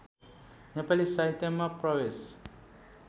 नेपाली साहित्यमा प्रवेश